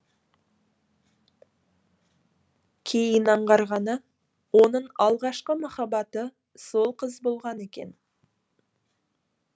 кейін аңғарғаны оның алғашқы махаббаты сол қыз болған екен